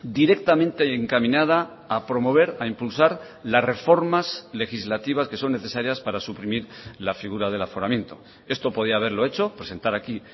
directamente encaminada a promover a impulsar las reformas legislativas que son necesarias para suprimir la figura del aforamiento esto podía haberlo hecho presentar aquí